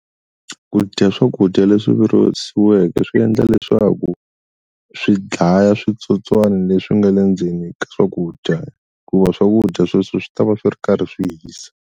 Ku dya swakudya leswi virisiweke swi endla leswaku swi dlaya switsotswani leswi nga le ndzeni ka swakudya ku va swakudya sweswo swi ta va swi ri karhi swi hisa.